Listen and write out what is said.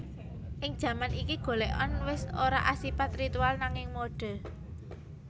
Ing jaman iki golèkan wis ora asipat ritual nanging mode